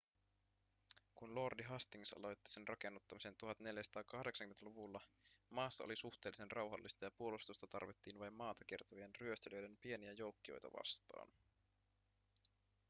kun lordi hastings aloitti sen rakennuttamisen 1480-luvulla maassa oli suhteellisen rauhallista ja puolustusta tarvittiin vain maata kiertävien ryöstelijöiden pieniä joukkioita vastaan